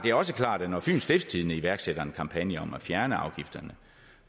er også klart at når fyens stiftstidende iværksætter en kampagne om at fjerne afgifterne